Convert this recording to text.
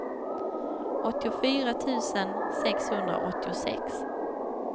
åttiofyra tusen sexhundraåttiosex